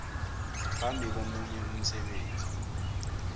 phambi komunye umsebenzi